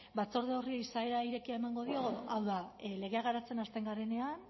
batzorde horri izaera irekia emango dio hau da legea garatzen hasten garenean